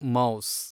mouse